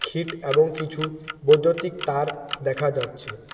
Cheat এবং কিছু বৈদ্যুতিক তার দেখা যাচ্ছে।